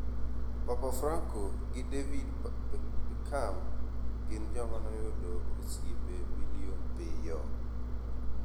Papa Franco gi David Becham gin joma noyudo oseipe milion piyo